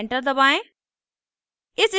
enter दबाएं